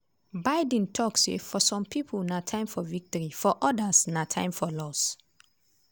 biden tok say for some pipo na time for victory for odas na time of loss.